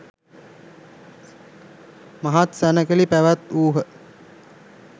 මහත් සැණකෙළි පැවැත්වූහ.